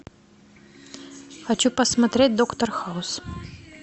хочу посмотреть доктор хаус